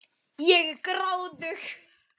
Ég er gráðug.